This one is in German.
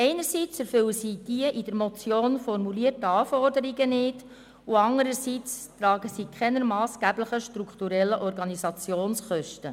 Einerseits erfüllen diese die in der Motion formulierten Anforderungen nicht, und andererseits tragen sie keine massgeblichen strukturellen Organisationskosten.